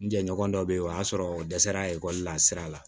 N jɛɲɔgɔn dɔ be ye o y'a sɔrɔ o dɛsɛr'a ekɔli la sira la